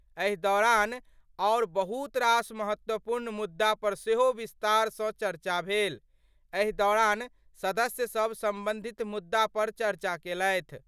एहि दौरान आओर बहुत रास महत्वपूर्ण मुद्दा पर सेहो विस्तार सं चर्चा भेल. एहि दौरान सदस्य सब संबंधित मुद्दा पर चर्चा केलथि।